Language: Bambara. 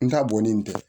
N ta bɔnnen tɛ